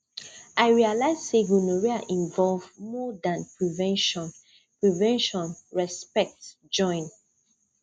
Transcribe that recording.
i realize say gonorrhea involve more than prevention prevention respect join